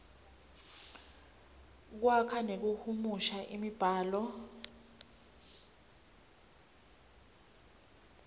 kwakha nekuhumusha imibhalo